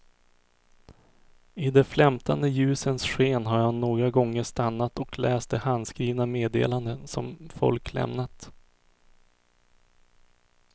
I de flämtande ljusens sken har jag några gånger stannat och läst de handskrivna meddelandena som folk lämnat.